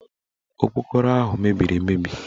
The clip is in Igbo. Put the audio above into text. Okporoko ahụ mebiri emebi